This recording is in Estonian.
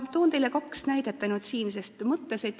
Toon teile ainult kaks näidet.